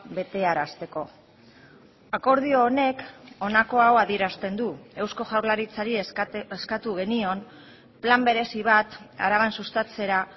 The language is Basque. betearazteko akordio honek honako hau adierazten du eusko jaurlaritzari eskatu genion plan berezi bat araban sustatzera